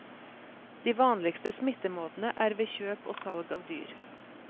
De vanligste smittemåtene er ved kjøp og salg av dyr.